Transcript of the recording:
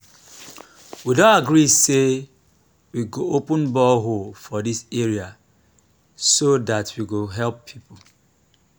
we don agree say we go open borehole for dis area so dat we go help people